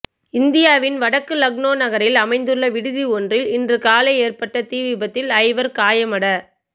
இந்தியாவின் வடக்கு லக்னோ நகரில் அமைந்துள்ள விடுதி ஒன்றில் இன்று காலை ஏற்பட்ட தீ விபத்தில் ஐவர் காயமட